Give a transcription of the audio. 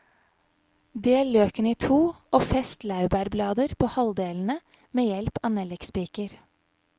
Del løken i to og fest laurbærblader på halvdelene med hjelp av nellikspiker.